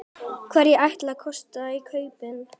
Hverjir ætli kosti kaupin?